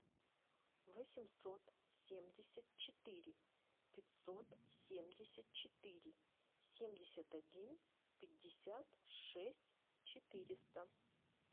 восемьсот семьдесят четыре пятьсот семьдесят четыре семьдесят один пятьдесят шесть четыреста